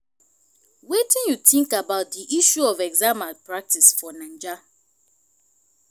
wetin you think about di issue of exam malpractice for naija?